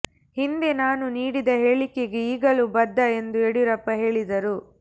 ಹಿಂದೆ ನಾನು ನೀಡಿದ ಹೇಳಿಕೆಗೆ ಈಗಲೂ ಬದ್ಧ ಎಂದು ಯಡಿಯೂರಪ್ಪ ಹೇಳಿದರು